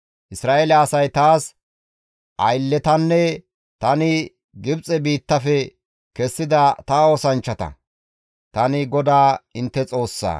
Isra7eele asay taas aylletanne tani Gibxe biittafe kessida ta oosanchchata; tani GODAA intte Xoossaa.